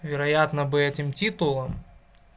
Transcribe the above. вероятно бы этим титулом